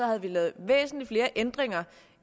havde vi lavet væsentlig flere ændringer